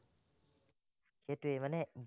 সেটোৱেই মানে